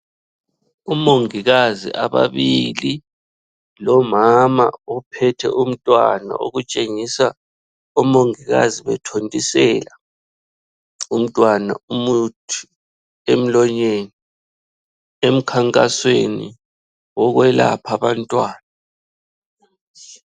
Umongikazi ababili, lomama ophethe umntwana okutshengisa omongikazi bethontisela umntwana umuthi emlonyeni emkhankasweni wokwelapha abantwana.